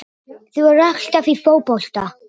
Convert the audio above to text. Þú ert alltaf í fótbolta!